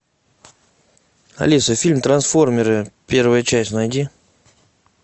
алиса фильм трансформеры первая часть найди